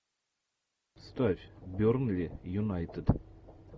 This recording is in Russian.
ставь бернли юнайтед